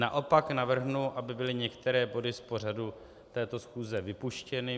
Naopak navrhnu, aby byly některé body z pořadu této schůze vypuštěny.